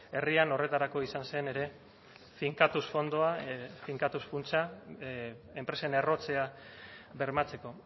herrian horretarako izan zen ere finkatuz fondoa finkatuz funtsa enpresen errotzea bermatzeko